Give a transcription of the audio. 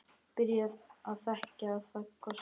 Byrjar að þekja það kossum.